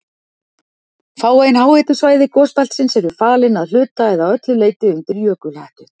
Fáein háhitasvæði gosbeltisins eru falin að hluta eða öllu leyti undir jökulhettu.